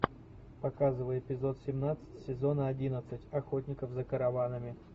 показывай эпизод семнадцать сезона одиннадцать охотников за караванами